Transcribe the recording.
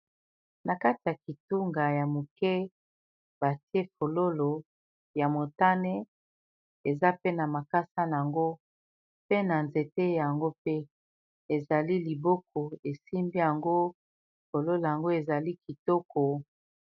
Na kati ya kitunga ya moke batie fololo ya motane eza pe na makasa nango pe na nzete yango mpe ezali liboko esimbi yango fololo yango ezali kitoko.